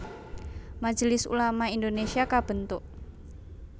Majelis Ulama Indonésia kabentuk